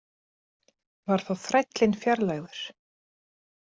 Var þá þrællinn fjarlægður.